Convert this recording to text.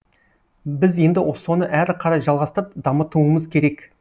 біз енді соны әрі қарай жалғастырып дамытуымыз керек